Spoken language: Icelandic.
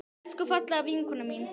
Elsku fallega vinkona mín.